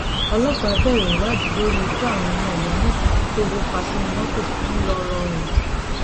ọlọpàá bẹrẹ ìwádìí lórí ikú àwọn ọmọ ìyá mẹta tóoru pa sínú mọtò ńlọrọrìn